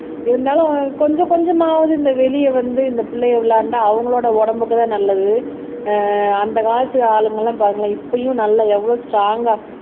இருந்தாலும் கொஞ்சம் கொஞ்சமாவது இந்த வெளிய வந்து இந்த பிள்ளையை விளையாண்டா அவங்களோட உடம்புக்குதான் நல்லது ஆஹ் அந்த காலத்து ஆளுங்க எல்லாம் பாருங்களேன் இப்பயும் நல்லா எவ்வளவு ஸ்ட்ரோங்கா